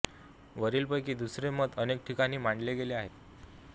वरील पैकी दुसरे मत अनेक ठिकाणी मांडले गेले आहे